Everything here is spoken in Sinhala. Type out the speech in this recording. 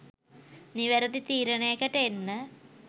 නිවැරැදි තීරණයකට එන්න.